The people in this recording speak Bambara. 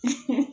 Unhun